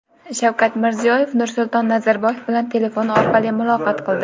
Shavkat Mirziyoyev Nursulton Nazarboyev bilan telefon orqali muloqot qildi.